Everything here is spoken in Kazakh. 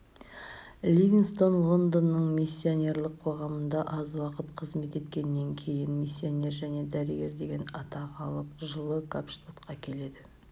ливингстон лондонның миссионерлік қоғамында аз уақыт қызмет еткеннен кейін миссионер және дәрігер деген атақ алып жылы капштадқа келеді